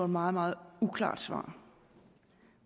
meget meget uklart svar